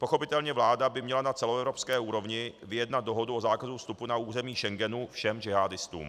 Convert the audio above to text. Pochopitelně vláda by měla na celoevropské úrovni vyjednat dohodu o zákazu vstupu na území Schengenu všem džihádistům.